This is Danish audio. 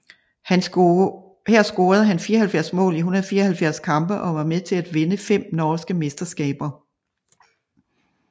Her scorede han 74 mål i 174 kampe og var med til at vinde fem norske mesterskaber